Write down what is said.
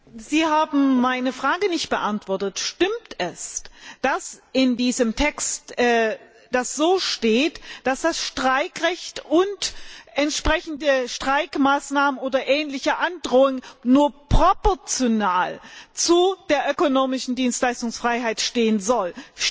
Herr Kommissar! Sie haben meine Frage nicht beantwortet. Stimmt es, dass in diesem Text steht, dass das Streikrecht und die entsprechenden Streikmaßnahmen oder ähnliche Androhungen nur proportional zu der ökonomischen Dienstleistungsfreiheit stehen sollen?